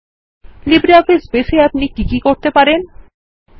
LibreOffice Base এ আপনি কি কি করতে পারেন160